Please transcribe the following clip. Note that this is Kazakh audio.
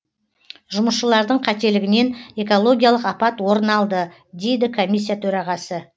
жұмысшылардың қателігінен экологиялық апат орын алды дейді комиссия төрағасы